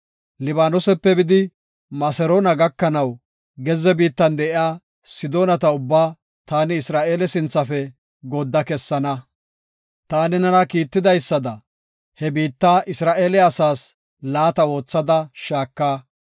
Libaanosepe bidi Maseroona gakanaw gezze biittan de7iya Sidoonata ubbaa taani Isra7eeleta sinthafe goodda kessana. Taani nena kiitidaysada he biitta Isra7eele asaas laata oothada shaaka.